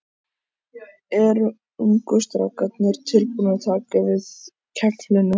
Eru ungu strákarnir tilbúnir að taka við keflinu?